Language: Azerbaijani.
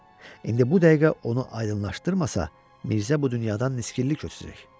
İndi bu dəqiqə onu aydınlaşdırmasa, Mirzə bu dünyadan niskinli köçəcək.